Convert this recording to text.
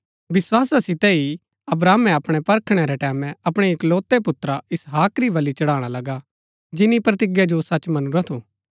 विस्‍वासा सितै ही अब्राहमे अपणै परखणै रै टैमैं अपणै इकलोतै पुत्रा इसाहक री बलि चढ़ाणा लगा जिन्‍नी प्रतिज्ञा जो सच मनुरा थू